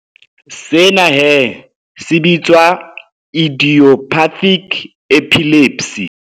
Sena he se bitswa idiopathic epilepsy.